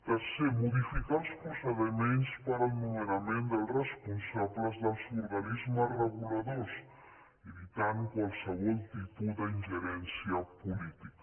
tercer modificar els procediments per al nomenament dels responsables dels organismes reguladors evitant qualsevol tipus d’ingerència política